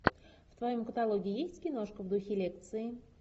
в твоем каталоге есть киношка в духе лекции